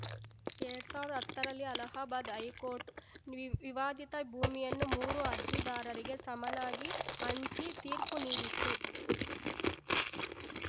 ಎರಡ್ ಸಾವಿರ್ದಾ ಹತ್ತರಲ್ಲಿ ಅಲಹಾಬಾದ್‌ ಹೈಕೋರ್ಟ್‌ ವಿವಾದಿತ ಭೂಮಿಯನ್ನು ಮೂರು ಅರ್ಜಿದಾರರಿಗೆ ಸಮನಾಗಿ ಹಂಚಿ ತೀರ್ಪು ನೀಡಿತ್ತು